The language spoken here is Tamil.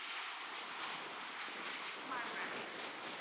குமார் ma'am